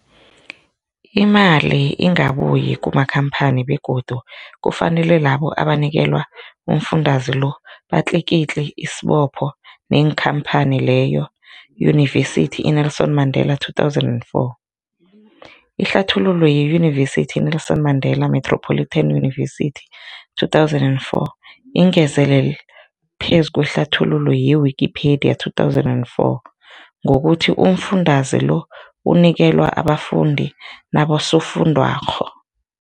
Imali ingabuyi kumakhamphani begodu kufanele labo abanikelwa umfundaze lo batlikitliki isibopho neenkhamphani leyo, Yunivesity i-Nelson Mandela 2024. Ihlathululo yeYunivesithi i-Nelson Mandela Metropolitan University, 2004, ingezelele phezu kwehlathululo ye-Wikipedia, 2004, ngokuthi umfundaze lo unikelwa abafundi nabosofundwakgho.